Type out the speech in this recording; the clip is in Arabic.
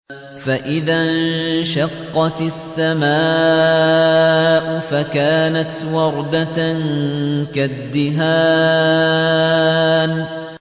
فَإِذَا انشَقَّتِ السَّمَاءُ فَكَانَتْ وَرْدَةً كَالدِّهَانِ